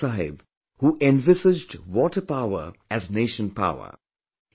Baba Saheb who envisaged water power as 'nation power'